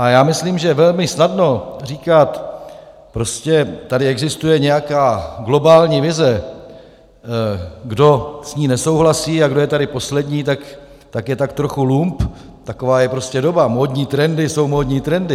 A já myslím, že je velmi snadné říkat: prostě tady existuje nějaká globální vize, kdo s ní nesouhlasí a kdo je tady poslední, tak je tak trochu lump, taková je prostě doba, módní trendy jsou módní trendy...